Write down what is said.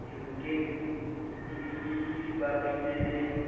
ke diyanokeng di bapile le